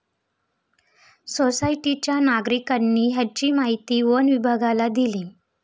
सोसायटीच्या नागरिकांनी याची माहिती वनविभागाला दिली.